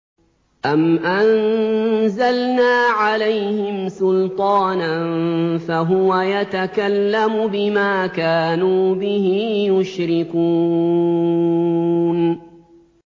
أَمْ أَنزَلْنَا عَلَيْهِمْ سُلْطَانًا فَهُوَ يَتَكَلَّمُ بِمَا كَانُوا بِهِ يُشْرِكُونَ